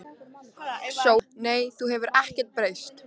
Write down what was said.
SÓLA: Nei, þú hefur ekkert breyst.